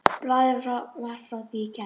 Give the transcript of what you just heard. Blaðið var frá því í gær.